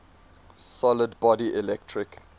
solid body electric